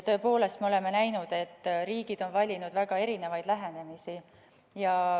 Tõepoolest, me oleme näinud, et riigid on valinud väga erinevaid lähenemisi.